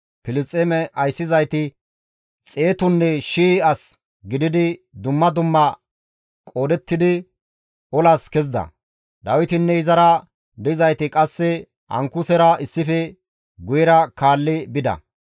Filisxeeme ayssizayti xeetunne shii as gididi dumma dumma qoodettidi olas kezida; Dawitinne izara dizayti qasse Ankusera issife guyera kaalli bida.